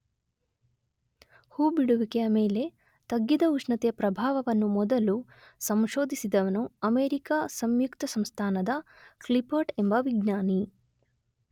ಹೂಬಿಡುವಿಕೆಯ ಮೇಲೆ ತಗ್ಗಿದ ಉಷ್ಣತೆಯ ಪ್ರಭಾವವನ್ನು ಮೊದಲು ಸಂಶೋಧಿಸಿದವನು ಅಮೆರಿಕ ಸಂಯುಕ್ತಸಂಸ್ಥಾನದ ಕ್ಲಿಪರ್ಟ್ ಎಂಬ ವಿಜ್ಞಾನಿ.